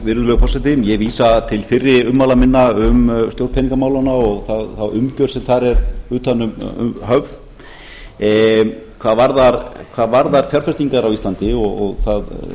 virðulegur forseti ég vísa til fyrri ummæla minna um stjórn peningamálanna og þá umgerð sem þar er utan um höfð hvað varðar fjárfestingarmál á íslandi og það